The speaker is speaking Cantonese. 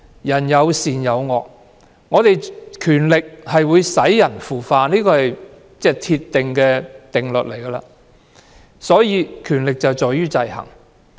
人性有善有惡，權力會使人腐化，這是鐵一般的定律，所以，權力制衡十分重要。